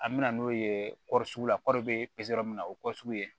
An bɛ na n'o ye sugu la kɔɔri bɛ min na o ye sugu ye